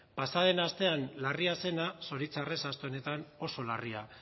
pasa den astean larria zena zoritxarrez aste honetan oso larria